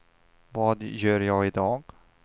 vad gör jag idag